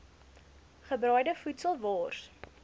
gebraaide voedsel wors